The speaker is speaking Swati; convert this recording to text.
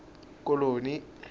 koloni